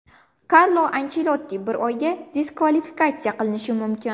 Karlo Anchelotti bir oyga diskvalifikatsiya qilinishi mumkin.